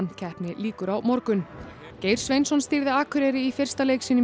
keppni lýkur á morgun Geir Sveinsson stýrði Akureyri í fyrsta leik sínum í